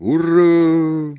ура